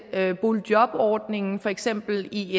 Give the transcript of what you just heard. boligjobordningen for eksempel i